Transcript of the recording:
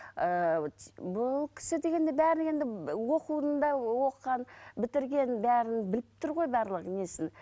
ыыы бұл кісі дегенде бәрі енді оқуын да оқыған бітірген бәрін біліп тұр ғой барлық несін